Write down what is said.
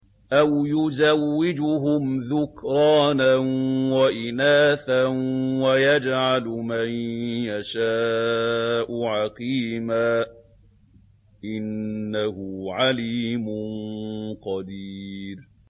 أَوْ يُزَوِّجُهُمْ ذُكْرَانًا وَإِنَاثًا ۖ وَيَجْعَلُ مَن يَشَاءُ عَقِيمًا ۚ إِنَّهُ عَلِيمٌ قَدِيرٌ